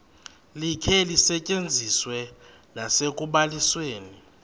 likhe lisetyenziswe nasekubalisweni